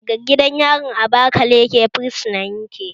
Daga gidan yarin abakaleke fursunan yake